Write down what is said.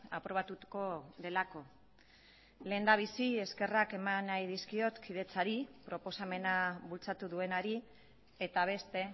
aprobatuko delako lehendabizi eskerrak eman nahi dizkiot kidetzari proposamena bultzatu duenari eta beste